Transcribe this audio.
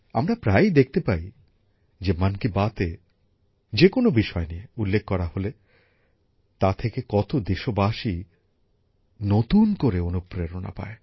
আমরা প্রায়ই দেখতে পাই যে মন কি বাতএ যে কোন বিষয় নিয়ে উল্লেখ করা হলে তা থেকে কত দেশবাসী নতুন করে অনুপ্রেরণা পায়